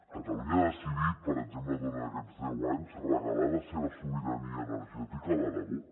catalunya ha decidit per exemple durant aquests deu anys regalar la seva sobirania energètica a l’aragó